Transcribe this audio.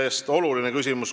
See on oluline küsimus.